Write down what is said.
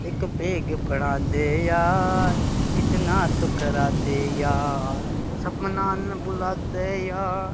एक बेग बड़ा दे यार इतना तो करा दे यार सपना ने बुला दे यार --